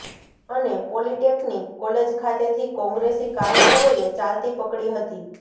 અને polytechnic college ખાતેથી કોંગ્રેસી કાર્યકરોએ ચાલતી પકડી હતી